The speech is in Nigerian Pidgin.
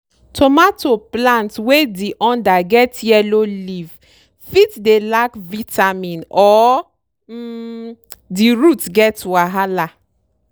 tomato plant wey di under get yellow leaf fit dey lack vitamin or um di root get wahala.